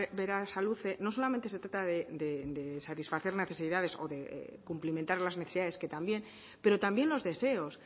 berasaluze no solamente se trata de satisfacer necesidades o de cumplimentar las necesidades que también pero también los deseos